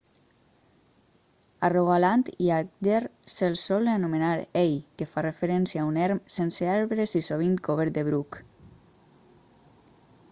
a rogaland i agder se'ls sol anomenar hei que fa referència a un erm sense arbres i sovint cobert de bruc